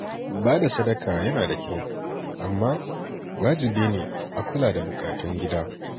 Ba da sadaka yana da kyau, amma wajibi ne a kula da bukatun gida.